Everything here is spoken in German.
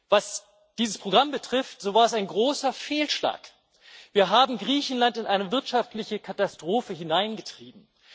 Was dieses Programm betrifft, so war es ein großer Fehlschlag. Wir haben Griechenland in eine wirtschaftliche Katastrophe hineingetrieben.